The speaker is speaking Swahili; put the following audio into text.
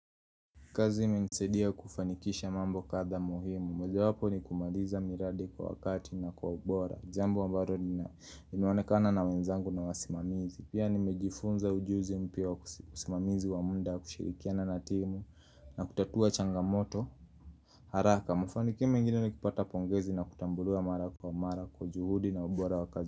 Kazi imenisaidia kufanikisha mambo kadhaa muhimu moja wapo ni kumaliza miradi kwa wakati na kwa ubora jambo ambalo nina imeonekana na wenzangu na wasimamizi Pia nimejifunza ujuzi mpya wa usimamizi wa muda kushirikiana na timu na kutatua changamoto haraka, mafinikio mengine ni kupata pongezi na kutambuliwa mara kwa mara kwa juhudi na ubora wa kazi.